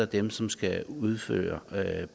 dem som skal udføre